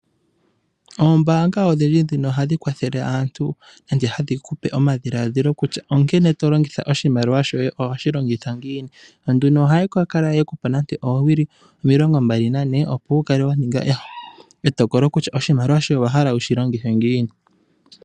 Oombaanga odhindji ndhino ohadhi kwathele aantu, nenge hadhi kupe omadhiladhilo kutya ,onkene to longitha omshimaliwa shoye, nohoshi longitha ngiini. Yo nduno ohaya kala yekupa nande oowili omilongo mbali nane, opo wukale wa ninga etokolo kutya oshimaliwa shoye owahala wushi longithe ngiini.